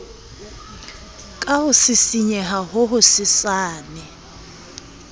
ka ho sisinyeha ho hosesane